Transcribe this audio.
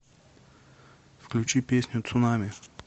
включи песню цунами